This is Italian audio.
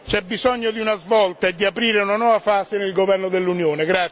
c'è bisogno di una svolta e di aprire una nuova fase nel governo dell'Unione.